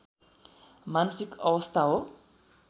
मानसिक अवस्था हो